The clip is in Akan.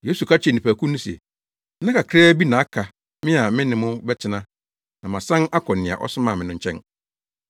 Yesu ka kyerɛɛ nnipakuw no se, “Nna kakraa bi na aka me a me ne mo bɛtena na masan akɔ nea ɔsomaa me no nkyɛn.